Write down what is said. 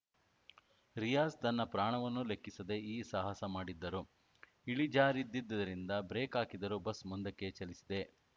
ರಿಯಾಜ್‌ ತನ್ನ ಪ್ರಾಣವನ್ನೂ ಲೆಕ್ಕಿಸದೇ ಈ ಸಾಹಸ ಮಾಡಿದ್ದರು ಇಳಿಜಾರಿದ್ದಿದ್ದರಿಂದ ಬ್ರೇಕ್‌ ಹಾಕಿದರೂ ಬಸ್‌ ಮುಂದಕ್ಕೆ ಚಲಿಸಿದೆ